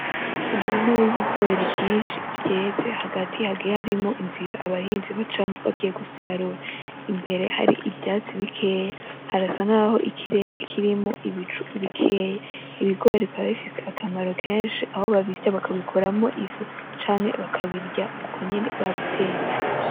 Umurima w,ibigori vyinshi vyeze hagati hagiye harimwo inzira abahinzi bacamwo bagiye gusarura imbere hari ivyatsi bikeya harasa nkaho ikirere kirimwo ibicu bikeya ibigori bikaba bifise akamaro kenshi aho babisya bakabikuramwo ifu canke bakabirya uko nyene babitetse.